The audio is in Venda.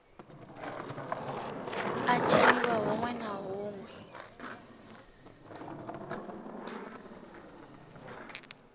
a tshiniwa huṋwe na huṋwe